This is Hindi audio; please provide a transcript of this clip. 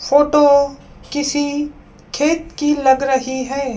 फोटो किसी खेत की लग रही है।